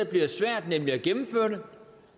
bliver svært nemlig at gennemføre det